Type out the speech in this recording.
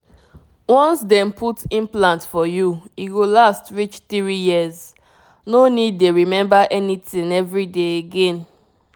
once dem put implant for you e go last reach 3yrs— no need dey remember anything every day again.